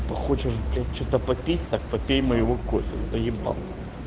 хочешь блять что-то попить так попей моего кофе заебал